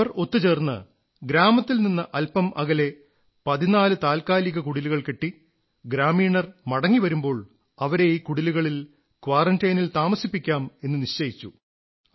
അവർ ഒത്തുചേർന്ന് ഗ്രാമത്തിൽ നിന്ന് അല്പം അകലെ 14 താത്കാലിക കുടിലുകൾ കെട്ടി ഗ്രാമീണർ മടങ്ങി വരുമ്പോൾ അവരെ ഈ കുടിലുകളിൽ ക്വാറന്റൈനിൽ താമസിപ്പിക്കാം എന്ന് നിശ്ചയിച്ചു